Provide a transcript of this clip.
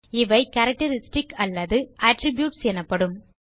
இவை கேரக்டரிஸ்டிக்ஸ் அல்லது அட்ரிபியூட்ஸ் எனப்படும்